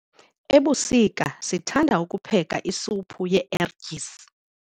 Ebusika sithanda ukupheka isuphu yee-ertyisi.